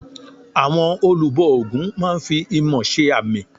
Àwọn olùbọ ògún máa n fi imọ̀ se àmì